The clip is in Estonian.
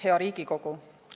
Hea Riigikogu!